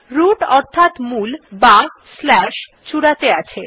root অর্থাৎ মূল অথবা চূড়াতে আছে